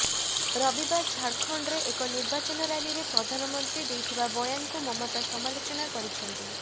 ରବିବାର ଝାରଖଣ୍ଡରେ ଏକ ନିର୍ବାଚନ ରାଲିରେ ପ୍ରଧାନମନ୍ତ୍ରୀ ଦେଇଥିବା ବୟାନକୁ ମମତା ସମାଲୋଚନା କରିଛନ୍ତି